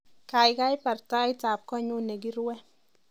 Kaikai barr tait ab konyu nekiruwe